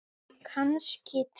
Kannski tveir.